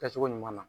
Kɛcogo ɲuman na